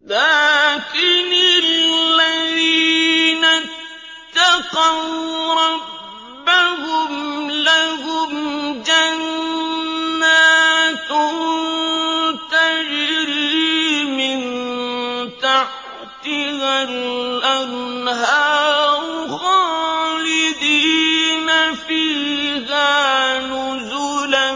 لَٰكِنِ الَّذِينَ اتَّقَوْا رَبَّهُمْ لَهُمْ جَنَّاتٌ تَجْرِي مِن تَحْتِهَا الْأَنْهَارُ خَالِدِينَ فِيهَا نُزُلًا